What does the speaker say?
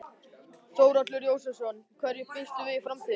Þórhallur Jósefsson: Hverju býstu við í framtíðinni?